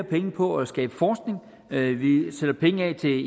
penge på at skabe forskning at vi sætter penge af til